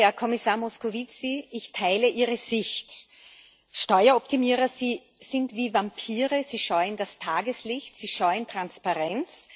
Sehr geehrter Herr Kommissar Moscovici, ich teile Ihre Sicht. Steueroptimierer sind wie Vampire, sie scheuen das Tageslicht, sie scheuen Transparenz.